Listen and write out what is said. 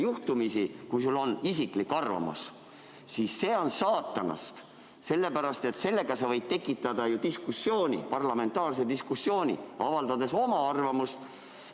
Juhtumisi, kui sul on isiklik arvamus, siis see on saatanast, sest sa võid tekitada ju diskussiooni, parlamentaarse diskussiooni, avaldades oma arvamust.